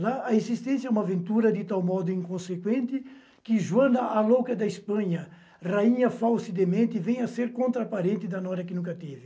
Lá, a existência é uma aventura de tal modo inconsequente que Joana, a louca da Espanha, rainha falsa e demente, vem a ser contraparente da Nora que nunca teve.